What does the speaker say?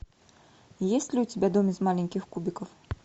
есть ли у тебя дом из маленьких кубиков